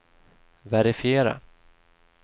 verifiera